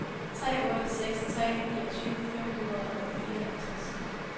tre otte seks tre niogtyve fem hundrede og fireoghalvtreds